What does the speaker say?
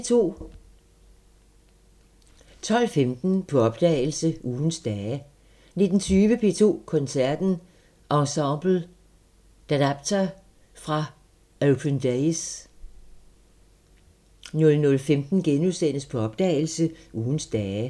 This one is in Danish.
12:15: På opdagelse – Ugens dage 19:20: P2 Koncerten – Ensemble Adapter fra Open Days 00:15: På opdagelse – Ugens dage *